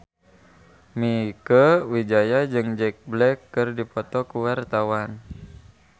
Mieke Wijaya jeung Jack Black keur dipoto ku wartawan